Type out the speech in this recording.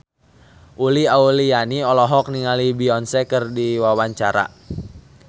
Uli Auliani olohok ningali Beyonce keur diwawancara